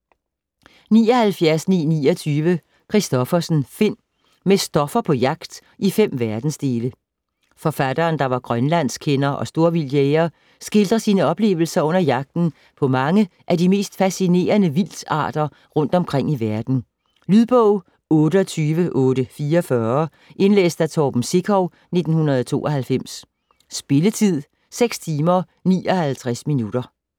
79.929 Kristoffersen, Finn: Med Stoffer på jagt i fem verdensdele Forfatteren, der var grønlandskender og storvildtjæger, skildrer sine oplevelser under jagten på mange af de mest fascinerende vildtarter rundt omkring i verden. Lydbog 28844 Indlæst af Torben Sekov, 1992. Spilletid: 6 timer, 59 minutter.